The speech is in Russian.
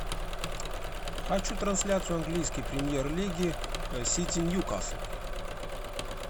хочу трансляцию английской премьер лиги сити ньюкасл